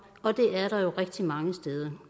og det er der jo rigtig mange steder